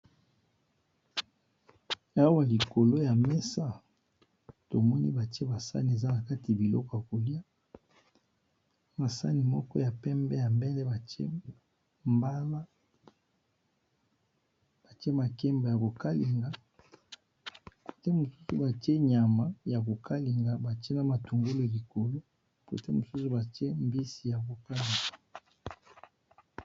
aba likolo ya mesa tomoni batie basani eza na kati biloko ya kolia masani moko ya pembe ya mbele baemalabatie makembe yokalingambatie nyama ya kokalinga batie na matungulo likolo kote mosusu batie mbisi ya kokanga